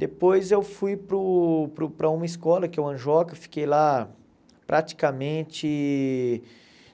Depois eu fui para o para o para uma escola, que é o Anjoca, fiquei lá praticamente